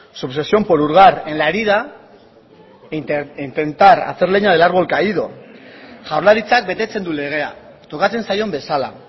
su obsesión por hurgar en la herida intentar hacer leña del árbol caído jaurlaritzak betetzen du legea tokatzen zaion bezala